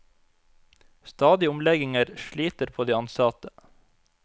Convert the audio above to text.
Stadige omlegginger sliter på de ansatte.